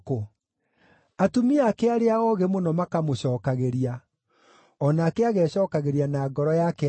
Atumia ake arĩa oogĩ mũno makamũcookagĩria; o nake agecookagĩria na ngoro yake atĩrĩ,